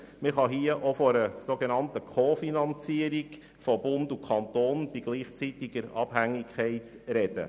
Man kann hier auch von einer sogenannten Co-Finanzierung von Bund und Kanton bei gleichzeitiger Abhängigkeit sprechen.